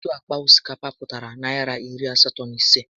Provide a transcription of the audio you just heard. Otu àkpà osikapa pụtara Naịra iri asatọ na ịse